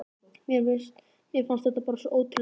Mér fannst þetta bara svo ótrúlega spennandi.